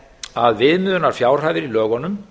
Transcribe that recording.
að viðmiðunarfjárhæðir í lögunum